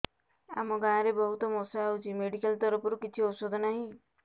ଆମ ଗାଁ ରେ ବହୁତ ମଶା ହଉଚି ମେଡିକାଲ ତରଫରୁ କିଛି ଔଷଧ ନାହିଁ